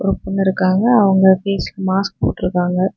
அங்க ஒரு பொண்ணு இருக்காங்க அவங்க ஃபேஸ்க்கு மாஸ்க்கு போட்டு இருக்காங்க.